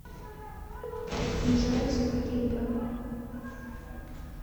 джоззи клипы